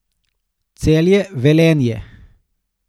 Celje, Velenje.